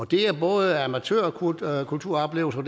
det er både amatørkulturoplevelser